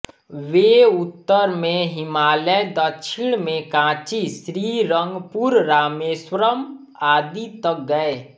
वे उत्तर में हिमालय दक्षिण में कांची श्रीरंगपुर रामेश्वरम् आदि तक गये